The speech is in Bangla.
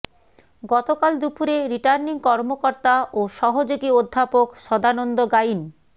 গতকাল দুপুরে রিটার্নিং কর্মকর্তা ও সহযোগী অধ্যাপক সদানন্দ গাইন